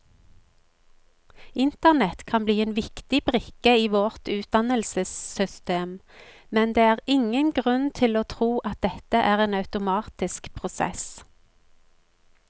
Internett kan bli en viktig brikke i vårt utdannelsessystem, men det er ingen grunn til å tro at dette er en automatisk prosess.